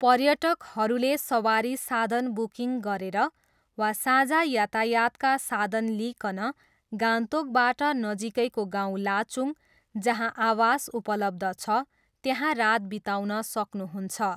पर्यटकहरूले सवारी साधन बुकिङ गरेर वा साझा यातायातका साधन लिइकन गान्तोकबाट नजिकैको गाउँ लाचुङ, जहाँ आवास उपलब्ध छ, त्यहाँ रात बिताउन सक्नुहुन्छ।